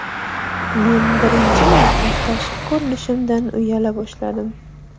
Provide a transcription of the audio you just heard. Men birinchi marta tashqi ko‘rinishimdan uyala boshladim.